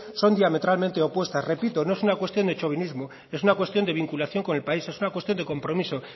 son diametralmente opuestas repito no es una cuestión de chovinismos es una cuestión de vinculación con el país es una cuestión de compromiso